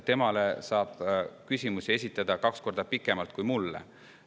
Temale saab küsimusi esitada kaks korda pikema aja jooksul kui mulle.